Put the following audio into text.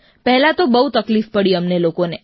પહેલાં તો બહુ તકલીફ પડી અમને લોકોને